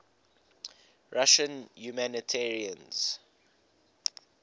russian humanitarians